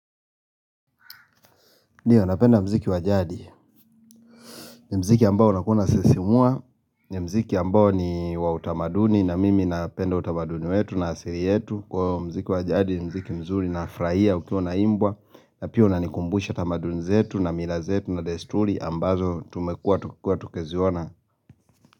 Ndio napenda mziki wa jadi ni mziki ambao unakuwa unasisimua ni mziki ambao ni wa utamaduni na mimi napenda utamaduni wetu na asili yetu kuwa muziki wa jadi ni muziki mzuri nafurahia ukiwa unaimbwa na pia unanikumbusha tamaduni zetu na mila zetu na desturi ambazo tumekua tukiziona.